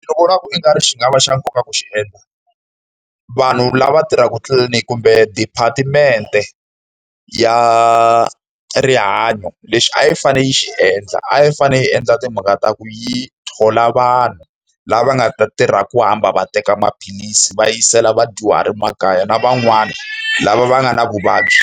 Ni vona ku i nga ri xi nga va xa nkoka ku xi endla, vanhu lava tirhaka tliliniki kumbe depatimente ya rihanyo, lexi a yi fanele yi xi endla a yi fanele yi endla timhaka ta ku yi thola vanhu lava nga ta tirha ku hamba va teka maphilisi va yisela vadyuhari makaya. Na van'wani lava va nga na vuvabyi